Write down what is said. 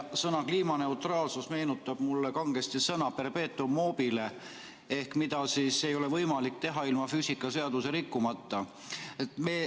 Sõna "kliimaneutraalsus" meenutab mulle kangesti sõnapaari perpetuum mobile ehk midagi, mida ei ole võimalik teha ilma füüsikaseadusi rikkumata.